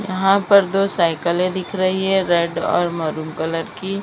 यहां पर दो साइकिलें दिख रही है रेड और मैरून कलर की।